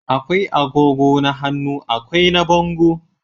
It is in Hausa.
akwai agogo na hannu akwai na bango